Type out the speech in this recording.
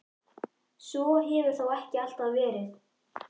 Svo hefur þó ekki alltaf verið.